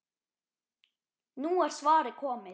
Nú er svarið komið.